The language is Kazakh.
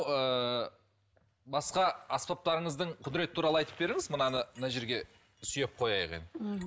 ыыы басқа аспаптарыңыздың құдіреті туралы айтып беріңіз мынаны мына жерге сүйеп қояйық енді мхм